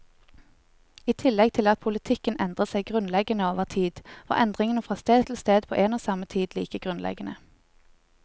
I tillegg til at politikken endret seg grunnleggende over tid, var endringene fra sted til sted på en og samme tid like grunnleggende.